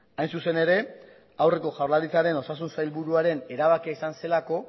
hain zuzen ere aurreko jaurlaritzaren osasun sailburuaren erabakia izan zelako